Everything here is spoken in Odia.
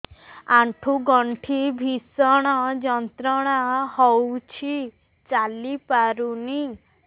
ଆଣ୍ଠୁ ଗଣ୍ଠି ଭିଷଣ ଯନ୍ତ୍ରଣା ହଉଛି ଚାଲି ପାରୁନି